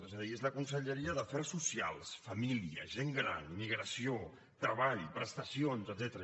és a dir és la conselleria d’afers socials família gent gran migració treball prestacions etcètera